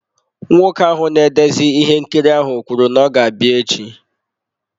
Nwoke ahụ na-edezi ihe nkiri ahụ kwuru na ọ ga-abịa echi.